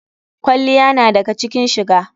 Kwalliya na daga cikin shiga.